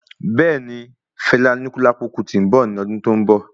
Bẹẹni, Fela Anikulapo Kuti nbọ ní ọdún tó n bọ